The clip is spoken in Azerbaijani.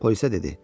Polisə dedi: